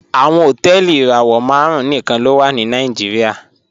Awọn hotẹẹli irawọ màrùn níkan ló wà ní Nàìjíríà